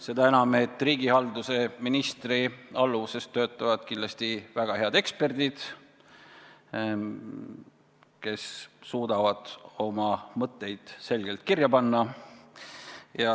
Seda enam, et riigihalduse ministri alluvuses töötavad kindlasti väga head eksperdid, kes suudavad oma mõtteid selgelt kirja panna.